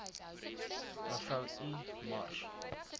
mev i mars